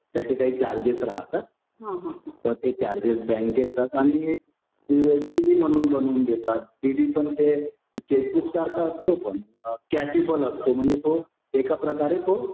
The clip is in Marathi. त्याचे काही चार्जेस राहतात. तर ते बँकेत जातात आणि म्हणून बनवून देतात. त्यानी पण ते चेकबुक सारखं असतो पण कॅपेबल असतो म्हणजे तो एका प्रकारे तो